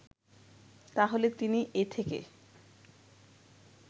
তাহলে তিনি এ থেকে